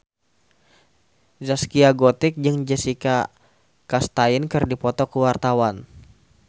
Zaskia Gotik jeung Jessica Chastain keur dipoto ku wartawan